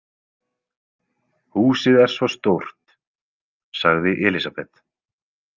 Húsið er svo stórt, sagði Elísabet.